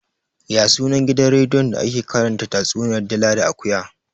Ya sunan gidan rediyon da ake karanta tatsuniyar dila da akuya?